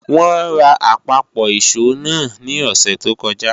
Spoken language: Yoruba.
Wọ́n ra àpapọ̀ ìṣó náà ní òsẹ̀ tó kọjá